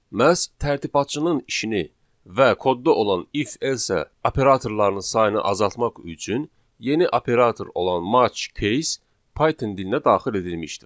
Məhz tərtibatçının işini və kodda olan if, else operatorlarının sayını azaltmaq üçün yeni operator olan match case Python dilinə daxil edilmişdir.